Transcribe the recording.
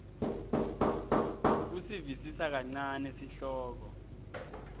kusivisisa kancane sihloko